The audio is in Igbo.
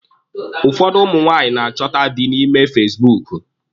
Ụfọdụ ụmụ nwaanyị na-achọta dị na ime fasibuuku.